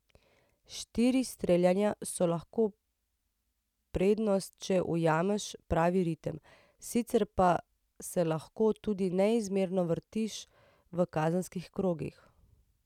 Štiri streljanja so lahko prednost, če ujameš pravi ritem, sicer pa se lahko tudi neizmerno vrtiš v kazenskih krogih.